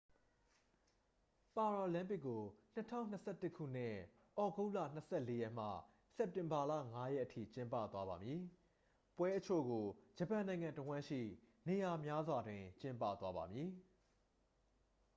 ပါရာလမ်းပစ်ကို 2021 ခုနှစ် သြဂုတ်လ 24 ရက်မှ စက်တင်ဘာလ 5 ရက်အထိ ကျင်းပသွားပါမည် ပွဲအချို့ကို ဂျပန်နိုင်ငံတစ်ဝှမ်းရှိ နေရာများစွာတွင် ကျင်းပသွားပါမည်